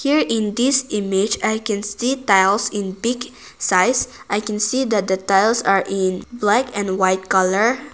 In this image i can see tiles in big size i can see that the tiles are in black and white colour.